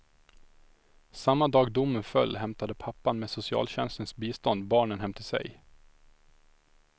Samma dag domen föll hämtade pappan med socialtjänstens bistånd barnen hem till sig.